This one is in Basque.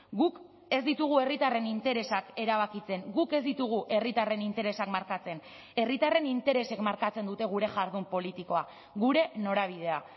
guk ez ditugu herritarren interesak erabakitzen guk ez ditugu herritarren interesak markatzen herritarren interesek markatzen dute gure jardun politikoa gure norabidea